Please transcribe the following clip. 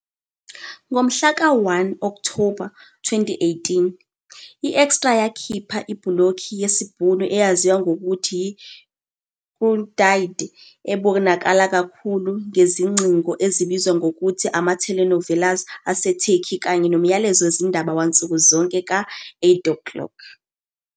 Ngomhla ka-1 Okthoba 2018, i-eExtra yakhipha ibhulokhi yesiBhunu eyaziwa ngokuthi "yiKuertyd", ebonakala kakhulu ngezingcingo ezibizwa ngokuthi ama- telenovelas aseTurkey kanye nomyalezo wezindaba wansuku zonke ka-20- 00.